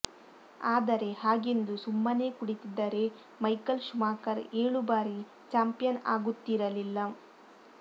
ಆದರೆ ಹಾಗೆಂದು ಸುಮ್ಮನೇ ಕುಳಿತಿದ್ದರೆ ಮೈಕಲ್ ಶುಮಾಕರ್ ಏಳು ಬಾರಿ ಚಾಂಪಿಯನ್ ಆಗುತ್ತಿರಲಿಲ್ಲ